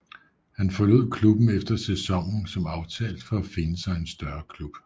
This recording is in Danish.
Han forlod klubben efter sæsonen som aftalt for at finde sig en større klub